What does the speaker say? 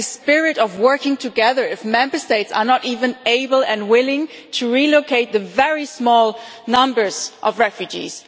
Where is the spirit of working together if Member States are not able and willing to relocate even very small numbers of refugees?